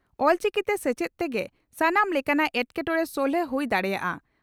ᱚᱞᱪᱤᱠᱤᱛᱮ ᱥᱮᱪᱮᱫ ᱛᱮᱜᱮ ᱥᱟᱱᱟᱢ ᱞᱮᱠᱟᱱᱟᱜ ᱮᱴᱠᱮᱴᱚᱸᱬᱮ ᱥᱚᱞᱦᱮ ᱦᱩᱭ ᱫᱟᱲᱮᱭᱟᱜᱼᱟ ᱾